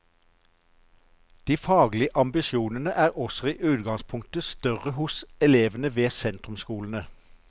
De faglige ambisjonene er også i utgangspunktet større hos elevene ved sentrumsskolene.